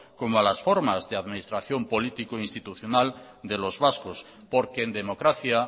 como a las formas de administración político institucional de los vascos porque en democracia